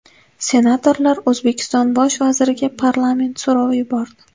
Senatorlar O‘zbekiston Bosh vaziriga parlament so‘rovi yubordi.